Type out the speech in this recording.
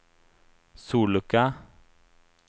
sollucka